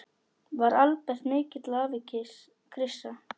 Var Albert mikill afi, Krissa?